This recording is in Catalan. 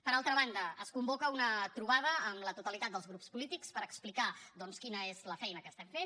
per altra banda es convoca una trobada amb la totalitat dels grups polítics per explicar doncs quina és la feina que estem fent